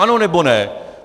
Ano, nebo ne?